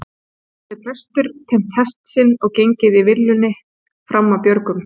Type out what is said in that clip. Hafði prestur teymt hest sinn og gengið svo í villunni fram af björgum.